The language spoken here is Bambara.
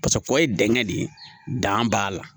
Paseke pɔ ye dingɛ de ye dan b'a la